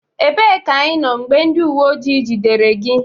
Ebee ka ịnọ mgbe ndị uwe ojii jidere gị?